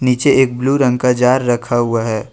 नीचे एक ब्लू रंग का जार रखा हुआ हैं।